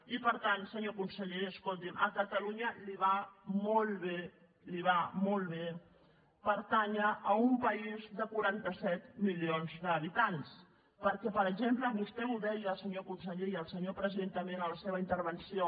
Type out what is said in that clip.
i per tant senyor conseller escolti’m a catalunya li va molt bé li va molt bé pertànyer a un país de quaranta set milions d’habitants perquè per exemple vostè ho deia senyor conseller i el senyor president també en la seva intervenció